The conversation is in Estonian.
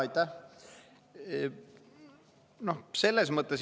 Aitäh!